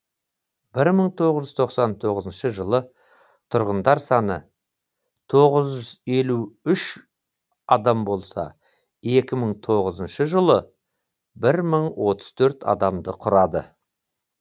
бір мың тоғыз жүз тоқсан тоғызыншы жылы тұрғындар саны тоғыз жүз елу үш адам болса екі мың тоғызыншы жылы бір мың отыз төрт адамды құрады